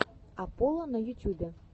апполо на ютюбе